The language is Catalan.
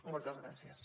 moltes gràcies